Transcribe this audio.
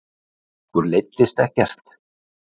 Okkur leiddist ekkert